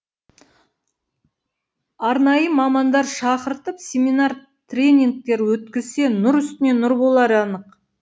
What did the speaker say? арнайы мамандар шақыртып семинар тренингтер өткізсе нұр үстіне нұр болары анық